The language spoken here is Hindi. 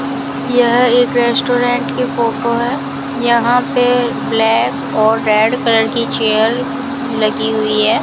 यह एक रेस्टोरेंट की फोटो यहां पे ब्लैक और रेड कलर की चेयर लगी हुई है।